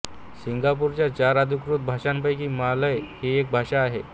सिंगापूरच्या चार अधिकृत भाषांपैकी मलाय ही एक भाषा आहे